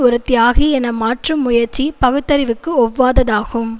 ஒரு தியாகி என மாற்றும் முயற்சி பகுத்தறிவுக்கு ஒவ்வாததாகும்